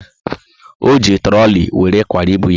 O ji trooli were kwara ibu ya